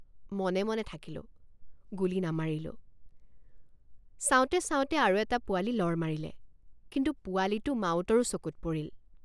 মনে মনে থাকিলোঁগুলী নামাৰিলোঁ৷ চাওঁতে চাওঁতে আৰু এটা পোৱালি লৰ মাৰিলে কিন্তু পোৱালিটো মাউতৰো চকুত পৰিল।